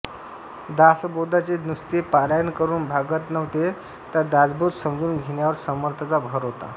दासबोधाचे नुसते पारायण करून भागत नव्हते दासबोध समजावून घेण्यावर समर्थांचा भर होता